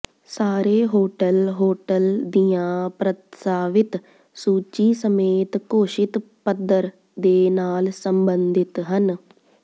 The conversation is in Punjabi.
ਸਾਰੇ ਹੋਟਲ ਹੋਟਲ ਦੀਆਂ ਪ੍ਰਸਤਾਵਿਤ ਸੂਚੀ ਸਮੇਤ ਘੋਸ਼ਿਤ ਪੱਧਰ ਦੇ ਨਾਲ ਸੰਬੰਧਿਤ ਹਨ